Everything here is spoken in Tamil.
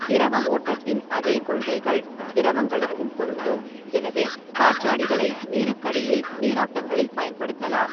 திரவ ஓட்டத்தின் அதே கொள்கைகள் திரவங்களுக்கும் பொருந்தும், எனவே காற்றாடிகளை நீருக்கடியில் நீரோட்டங்களில் பயன்படுத்தலாம்.